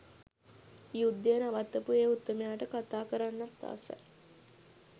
යුද්ධය නවත්තපු ඒ උත්තමයාට කතා කරන්නත් ආසයි.